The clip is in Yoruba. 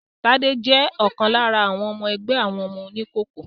Tádé jẹ́ ọ̀kan lára àwọn ọmọ ẹgbẹ́ àwọn oníkòkó